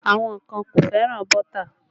Àwọn kan kò fẹ́ràn bọ́tà